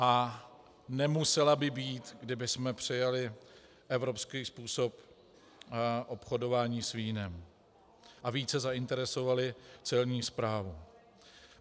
A nemusela by být, kdybychom přijali evropský způsob obchodování s vínem a více zainteresovali Celní správu.